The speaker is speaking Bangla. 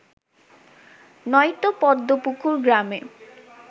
নয়তো পদ্মপুকুর গ্রামে